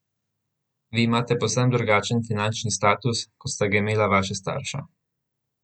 Vi imate povsem drugačen finančni status, kot sta ga imela vaša starša.